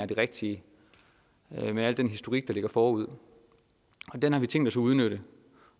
det rigtige med al den historik der ligger forud og den har vi tænkt os at udnytte